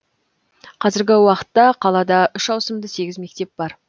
қазіргі уақытта қалада үш ауысымды сегіз мектеп бар